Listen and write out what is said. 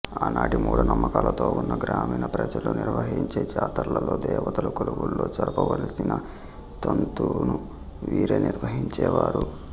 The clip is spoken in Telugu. ఆనాటి మూడ నమ్మకాలతో వున్న గ్రామీణ ప్రజలు నిర్వహించే జాతర్లలో దేవతల కొలువుల్లో జరప వలసిన తంతును వీరే నిర్వహించేవారు